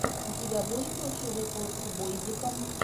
у тебя будет лучший выпуск бойзика